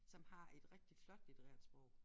Som har et rigtig flot litterært sprog